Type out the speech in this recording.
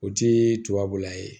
O ti tubabula ye